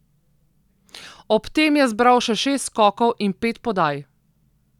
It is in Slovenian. Ob tem je zbral še šest skokov in pet podaj.